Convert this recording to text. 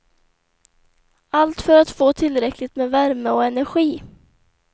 Allt för att få tillräckligt med värme och energi.